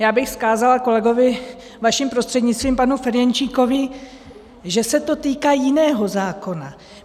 Já bych vzkázala kolegovi vaším prostřednictvím, panu Ferjenčíkovi, že se to týká jiného zákona.